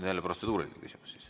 Jälle protseduuriline küsimus.